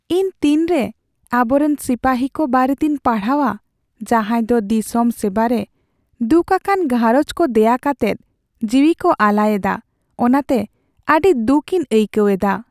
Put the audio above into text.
ᱤᱧ ᱛᱤᱱᱨᱮ ᱟᱵᱚᱨᱮᱱ ᱥᱤᱯᱟᱹᱦᱤ ᱠᱚ ᱵᱟᱨᱮᱛᱤᱧ ᱯᱟᱲᱦᱟᱣᱟ ᱡᱟᱦᱟᱸᱭ ᱫᱚ ᱫᱤᱥᱚᱢ ᱥᱮᱵᱟᱨᱮ ᱫᱩᱠᱷᱟᱠᱟᱱ ᱜᱷᱟᱨᱚᱸᱡᱽ ᱠᱚ ᱫᱮᱭᱟ ᱠᱟᱛᱮᱫ ᱡᱤᱣᱤᱠᱚ ᱟᱞᱟᱭᱮᱫᱟ ᱚᱱᱟᱛᱮ ᱟᱹᱰᱤ ᱫᱩᱠᱤᱧ ᱟᱹᱭᱠᱟᱹᱣ ᱮᱫᱟ ᱾